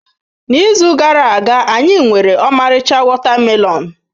N'izu gara aga, anyị nwere ọmarịcha watermelons.